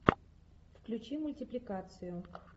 включи мультипликацию